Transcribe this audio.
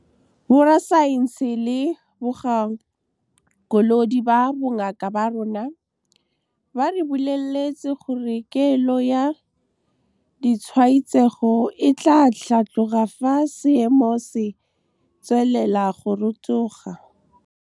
Borasaense le bagakolodi ba bongaka ba rona ba re boleletse gore kelo ya ditshwaetsego e tla tlhatloga fa seemo se tswelela go rotoga. Borasaense le bagakolodi ba bongaka ba rona ba re boleletse gore kelo ya ditshwaetsego e tla tlhatloga fa seemo se tswelela go rotoga.